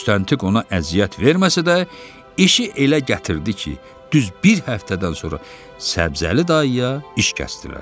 Müstəntiq ona əziyyət verməsə də, işi elə gətirdi ki, düz bir həftədən sonra Səbzəli dayıya iş kəsdilər.